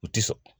U ti sɔn